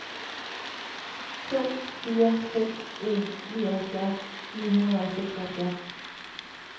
to fire seks en nioghalvfjerds ni hundrede og seksoghalvfjerds